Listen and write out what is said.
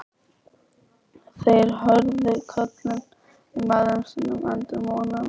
Þeir heyrðu köllin í mæðrum sínum enduróma um allt.